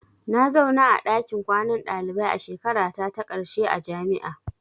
Na zauna a ɗakin kwanan dalibai a shekarata ta ƙarshe a jami'a.